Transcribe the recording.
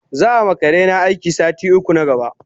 Zaama karena aiki sati uku na gaba